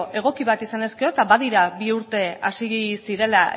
egoki bat izan ezkero eta badira bi urte hasi zirela